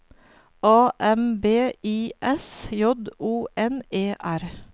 A M B I S J O N E R